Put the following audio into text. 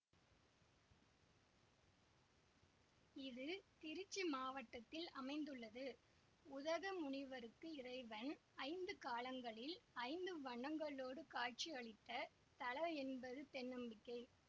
இது திருச்சி மாவட்டத்தில் அமைந்துள்ளது உதக முனிவருக்கு இறைவன் ஐந்து காலங்களில் ஐந்து வண்ணங்களோடு காட்சியளித்த தலயென்பது தென்நம்பிக்கை